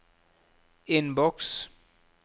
innboks